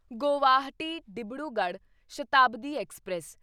Guwahati Dibrugarh Shatabdi express